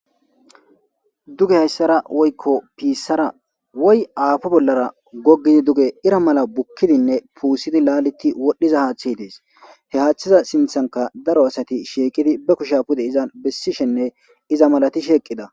Dugge hayssara woykko appo bollara gogidi duge irra mala bukidi pussidi laaleti wodhiza haththey dees he haththeza sinththanka daaro assayi shiqqidi ba kushshe puude izan bessishene maalatishe eqqida